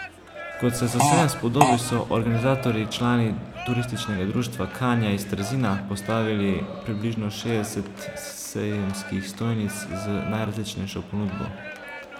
Kot se za sejem spodobi, so organizatorji, člani turističnega društva Kanja iz Trzina, postavili približno šestdeset sejemskih stojnic z najrazličnejšo ponudbo.